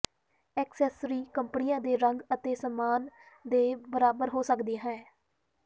accessory ਕੱਪੜਿਆਂ ਦੇ ਰੰਗ ਅਤੇ ਸਮਾਨ ਦੇ ਬਰਾਬਰ ਹੋ ਸਕਦੀ ਹੈ